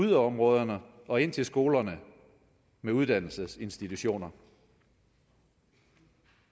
yderområderne og ind til skoler med uddannelsesinstitutioner en